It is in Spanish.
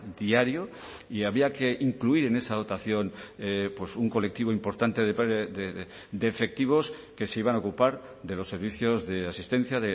diario y había que incluir en esa dotación un colectivo importante de efectivos que se iban a ocupar de los servicios de asistencia